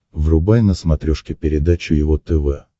врубай на смотрешке передачу его тв